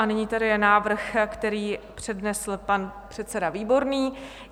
A nyní je tady návrh, který přednesl pan předseda Výborný.